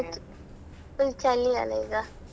ಹಾ ಇವತ್ತು full ಚಳಿ ಅಲ್ಲ ಈಗ.